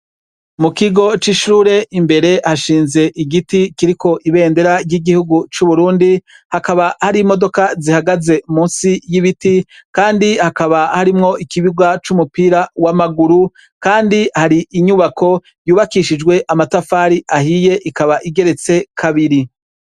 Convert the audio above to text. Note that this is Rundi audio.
Mu kigo c'ishure imbere hashinze igiti kiriko ibendera ry'igihugu c'uburundi, hakaba hari imodoka zihagaze munsi y'ibiti kandi hakaba harimwo ikibuga c'umupira w'amaguru kandi hari inyubako yubakishijwe amatafari ahiye ikaba igeretse kabiri.